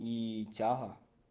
и тяга